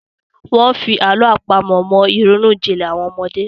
Wọ́n fi àlọ́ àpamọ̀ mọ ìrònú jinlẹ̀ àwọn ọmọdé.